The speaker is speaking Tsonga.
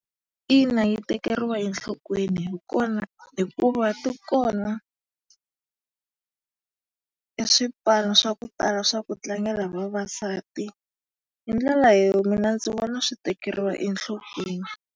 Ina yi tekeriwa enhlokweni hikuva ti kona e swipano swa ku tala swa ku tlangela hi vavasati. Hi ndlela mina ndzi vona swi tekeriwa enhlokweni.